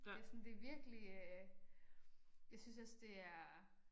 Det sådan det virkelig øh. Jeg synes også det er